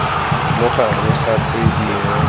mo gare ga tse dingwe